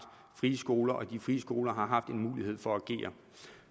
frie skoler og de frie skoler har haft en mulighed for at agere